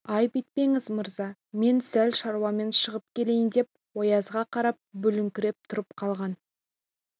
айып етпеңіз мырза мен сәл шаруамен шығып келейін деп оязға қарап бүгіліңкіреп тұрып қалған